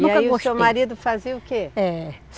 E aí o seu marido fazia o quê? É.